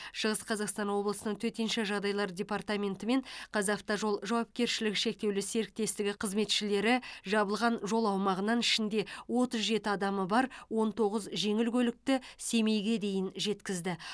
шығыс қазақстан облысының төтенше жағдайлар департаменті мен қазавтожол жауапкершілігі шектеулі серіктестігі қызметшілері жабылған жол аумағынан ішінде отыз жеті адамы бар он тоғыз жеңіл көлікті семейге дейін жеткізді